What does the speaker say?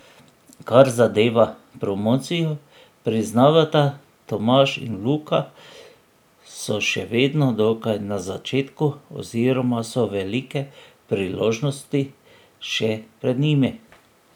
Kar zadeva promocijo, priznavata Tomaž in Luka, so še vedno dokaj na začetku oziroma so velike priložnosti še pred njimi.